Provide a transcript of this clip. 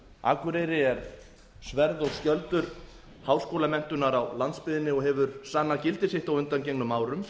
akureyri er sverð og skjöldur háskólamenntunar á landsbyggðinni og hefur sannað gildi sitt á undanförnum árum